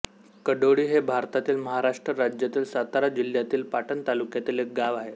कडोळी हे भारतातील महाराष्ट्र राज्यातील सातारा जिल्ह्यातील पाटण तालुक्यातील एक गाव आहे